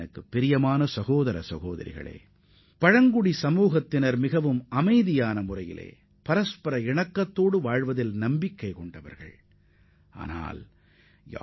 எனதருமை சகோதர சகோதரிகளே பழங்குடியின மக்கள் மிகவும் அமைதியான இணக்கத்துடன் வாழ்வதில் நம்பிக்கைக் கொண்டவர்கள் என்பதற்கு இவையே சான்றாகும்